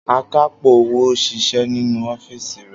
Akápò owó ń ṣiṣẹ́ nínú ọ́fíìsì rè.